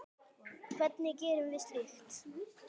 Hvernig gerum við slíkt?